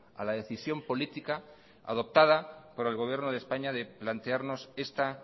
a la decisión política adoptada por el gobierno de españa de plantearnos esta